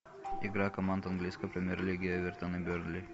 игра команд английской премьер лиги эвертон и бернли